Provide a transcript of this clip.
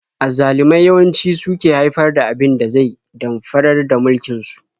Azzalumai yawanci su suke haifar da abin da zai damfarar da mulkin su.